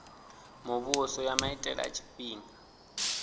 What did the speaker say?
muvhuso ya maitele a tshifhinga